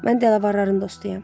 Mən dələvarların dostuyam.